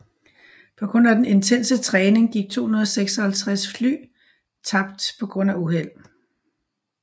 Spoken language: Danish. På grund af den intense træning gik 256 fly tabt på grund af uheld